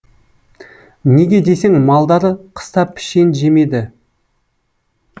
неге десең малдары қыста пішен жемеді